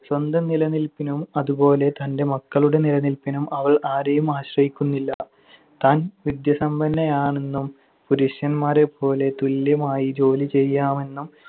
സ്വന്തം നിലനിൽപ്പിനും അതുപോലെ തന്‍റെ മക്കളുടെ നിലനിൽപ്പിനും അവൾ ആരെയും ആശ്രയിക്കുന്നില്ല. താൻ വിദ്യസമ്പന്നയാണെന്നും പുരുഷന്മാരെപ്പോലെ തുല്യമായി ജോലി ചെയ്യാമെന്നും